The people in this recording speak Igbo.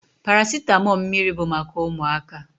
Paracitamọ mmiri bụ maka ụmụaka.